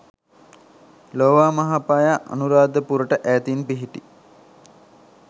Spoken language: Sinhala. ලෝවාමහාපාය අනුරාධපුරට ඈතින් පිහිටි